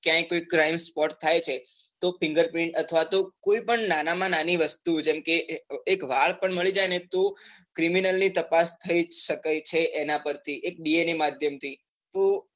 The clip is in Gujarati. ક્યાય કોઈ crime spot થાય છે તો finger print અથવા તો કોઈ પણ નાના માં નાની વસ્તુ જેમ કે એક વાળ પણ મળી જાય ને તો criminal ની તપાસ થઈ શકે છે એના પર થી એક DNA માધ્યમ થી